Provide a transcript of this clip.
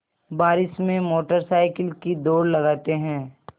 बारिश में motorcycle की दौड़ लगाते हैं